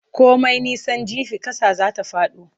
Komai nisan jifa ƙasa zai fado.